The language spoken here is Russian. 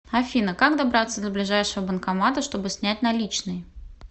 афина как добраться до ближайшего банкомата чтобы снять наличные